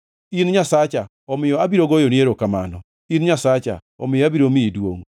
In Nyasacha, omiyo abiro goyoni erokamano; in Nyasacha omiyo abiro miyi duongʼ.